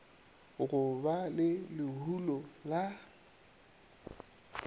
go ba le lehulo la